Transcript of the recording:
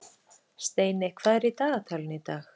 Steiney, hvað er í dagatalinu í dag?